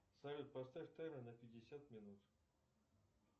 салют поставь таймер на пятьдесят минут